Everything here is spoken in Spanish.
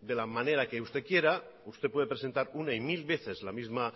de la manera que usted quiera usted puede presentar una y mil veces la misma